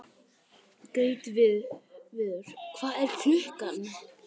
Gautviður, hvað er klukkan?